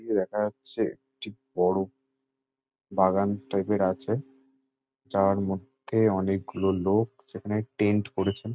দেখা যাচ্ছে একটি বড়ো বাগান টাইপ -র আছে যার মধ্যে অনেকগুলো লোক সেখানে টেন্ট করেছে।